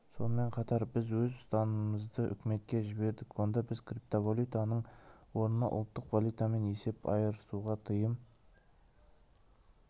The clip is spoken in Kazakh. сонымен қатар біз өз ұсыныстарымызды үкіметке жібердік онда біз криптовалютаның орнына ұлттық валютамен есеп айырысуға тыйым